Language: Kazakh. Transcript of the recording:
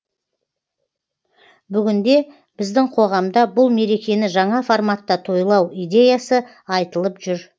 бүгінде біздің қоғамда бұл мерекені жаңа форматта тойлау идеясы айтылып жүр